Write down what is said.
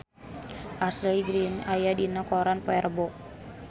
Ashley Greene aya dina koran poe Rebo